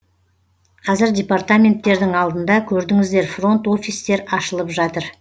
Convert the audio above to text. қазір департаменттердің алдында көрдіңіздер фронт офистар ашылып жатыр